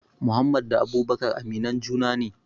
Muhammad da abubakar aminan juna ne